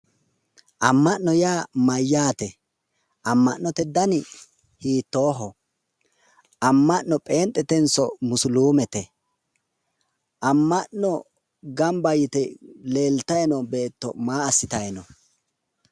Anma'no yaa mayyaate? anma'note dani hiittooho amma'no pheenxetenso musilimete? Amma'no gamba yite leeltayi noo beetto maa assitanni no?